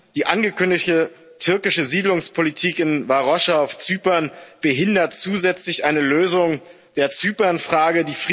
Die angekündigte türkische Siedlungspolitik in Varosha auf Zypern behindert zusätzlich eine Lösung der Zypernfrage.